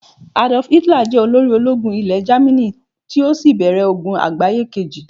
Adolf Hitler jẹ olórí ológun Ile jamini, ti o sí bèrè ogun àgbáyé Kejì